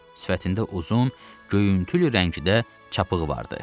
Sifətində uzun, göyüntülü rəngdə çapığı vardı.